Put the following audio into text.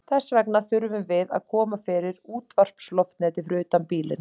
Þess vegna þurfum við að koma fyrir útvarpsloftneti fyrir utan bílinn.